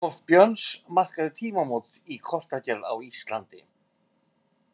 Kort Björns markaði tímamót í kortagerð á Íslandi.